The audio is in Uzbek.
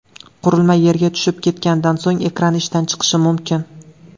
Qurilma yerga tushib ketganidan so‘ng, ekrani ishdan chiqishi mumkin.